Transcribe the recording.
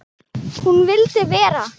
Hún vildi vera.